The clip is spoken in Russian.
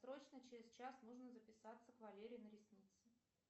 срочно через час нужно записаться к валере на ресницы